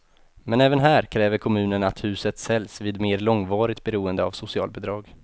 Men även här kräver kommunen att huset säljs vid mer långvarigt beroende av socialbidrag.